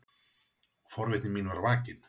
Forvitni mín var vakin.